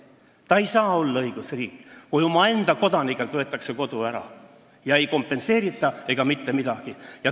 Eesti ei saa olla õigusriik, kui omaenda kodanikelt võetakse kodu ära ja seda ei kompenseerita mitte kuidagi.